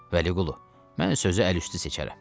Vəliqulu, mən sözü əl üstü seçərəm.